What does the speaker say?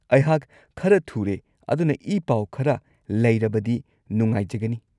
ꯑꯩꯍꯥꯛ ꯈꯔ ꯊꯨꯔꯦ ꯑꯗꯨꯅ ꯏ-ꯄꯥꯎ ꯈꯔ ꯂꯩꯔꯕꯗꯤ ꯅꯨꯉꯥꯏꯖꯒꯅꯤ꯫